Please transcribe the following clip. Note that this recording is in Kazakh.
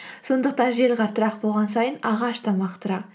сондықтан жел қаттырақ болған сайын ағаш та мықтырақ